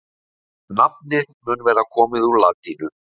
Nafnið mun vera komið úr latínu.